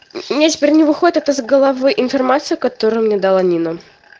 у меня теперь не выходит эта из головы информация которая мне дала нина